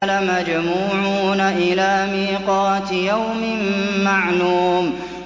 لَمَجْمُوعُونَ إِلَىٰ مِيقَاتِ يَوْمٍ مَّعْلُومٍ